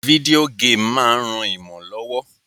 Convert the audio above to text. Video game ma n ran imo lówó